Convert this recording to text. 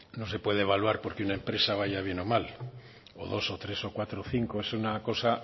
no se puede evaluar porque una empresa vaya bien o mal o dos o tres o cuatro o cinco es una cosa